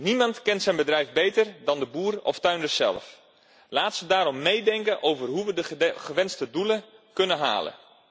Niemand kent zijn bedrijf beter dan de boeren of de tuinders zelf. Laat hen daarom meedenken over hoe we de gewenste doelen kunnen halen.